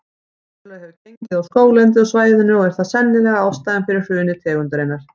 Verulega hefur gengið á skóglendið á svæðinu og er það sennilega ástæðan fyrir hruni tegundarinnar.